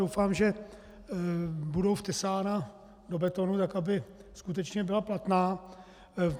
Doufám, že budou vtesána do betonu tak, aby skutečně byla platná.